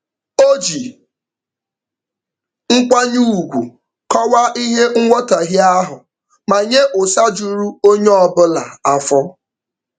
O ji nkwanye ugwu kọwaa ihe nghọtaghie ahụ ma nye ụsa juru onye ọbụla afọ.